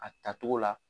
A tacogo la